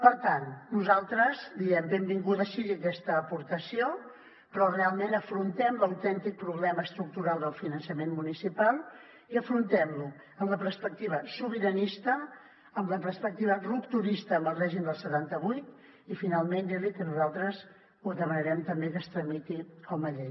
per tant nosaltres diem benvinguda sigui aquesta aportació però realment afrontem l’autèntic problema estructural del finançament municipal i afrontem lo amb la perspectiva sobiranista amb la perspectiva rupturista amb el règim del setanta vuit i finalment dir li que nosaltres ho demanarem també que es tramiti com a llei